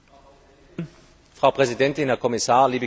Frau Präsidentin, Herr Kommissar, liebe Kolleginnen und Kollegen!